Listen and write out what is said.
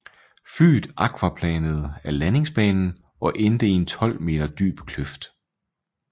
Flyet aquaplanede af landingsbanen og endte i en 12 meter dyb kløft